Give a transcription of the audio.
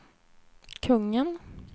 kungen